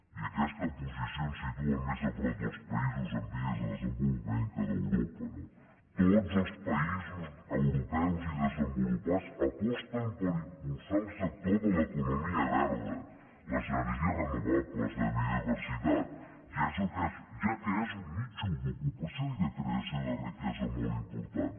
i aquesta posició ens situa més a prop dels països en vies de desenvolupament que d’europa no tots els països europeus i desenvolupats aposten per impulsar el sector de l’economia verda les energies renovables la biodiversitat ja que és un nínxol d’ocupació i de creació de riquesa molt important